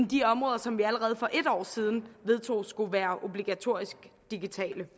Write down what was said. de områder som vi allerede for en år siden vedtog skulle være obligatorisk digitale